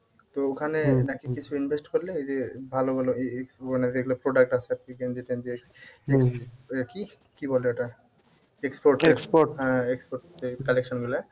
তো ওখানে নাকি কিছু invest করলে এইযে ভালো ভালো এই এই মানে যেগুলো product আছে আর কি গেঞ্জি টেঞ্জি এইসব? কি বলে ওটা হ্যাঁ export এর collection গুলা